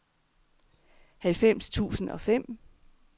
halvfems tusind og fem